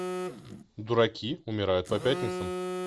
дураки умирают по пятницам